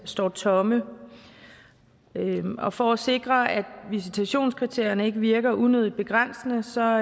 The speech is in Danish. står tomme og for at sikre at visitationskriterierne ikke virker unødigt begrænsende står